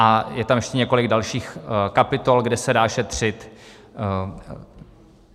A je tam ještě několik dalších kapitol, kde se dá šetřit.